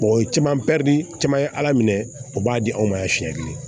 o ye caman pɛridi caman ye ala minɛ o b'a di anw ma yan siɲɛ kelen